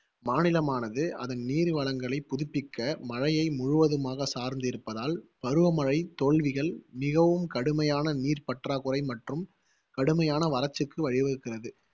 மாநிலமானது அதன் நீர்வளங்களை புதுப்பிக்க, மழையை முழுவதுமாக சார்ந்து இருப்பதால், பருவமழை தோல்விகள் மிகவும் கடுமையான நீர் பற்றாக்குறை மற்றும் கடுமையான வறட்சிக்கு வழிவகுக்கிறது